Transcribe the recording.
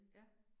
Ja